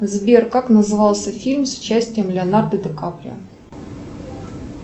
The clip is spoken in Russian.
сбер как назывался фильм с участием леонардо ди каприо